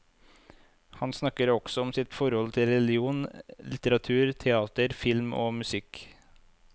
Han snakker også om sitt forhold til religion, litteratur, teater, film og musikk.